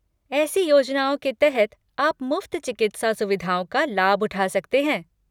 ऐसी योजनाओं के तहत आप मुफ्त चिकित्सा सुविधाओं का लाभ उठा सकते हैं।